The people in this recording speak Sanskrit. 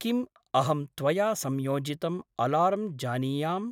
किम्, अहं त्वया संयोजितम् अलार्म् जानीयाम्?